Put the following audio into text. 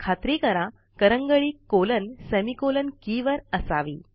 खात्री करा करंगळी कॉलनसेमिकॉलन के वर असावी